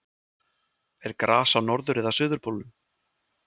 er gras á norður eða suðurpólnum